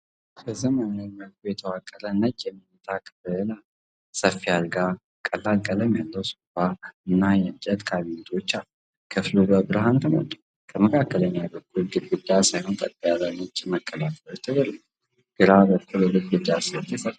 በዘመናዊ መልኩ የተዋቀረ ነጭ የመኝታ ክፍል አለ። ሰፊ አልጋ፣ ቀላል ቀለም ያለው ሶፋ እና የእንጨት ካቢኔቶች አሉ። ክፍሉ በብርሃን ተሞልቷል፤ ከመካከለኛው በኩል ግድግዳ ሳይሆን ቀጥ ያሉ ነጭ መከለያዎች ተደርገዋል። ግራ በኩል የግድግዳ ስዕል ተሰቅሏል።